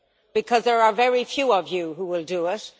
Because there are very few of you who will do it.